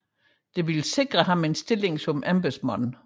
Det ville sikre ham en stilling som embedsmand